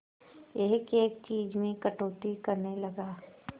एक एक चीज में कटौती करने लगा